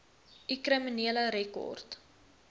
u kriminele rekord